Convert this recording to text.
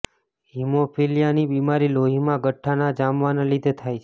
હીમોફિલિયાની બિમારી લોહીમાં ગઠ્ઠા ના જામવાના લીધે થાય છે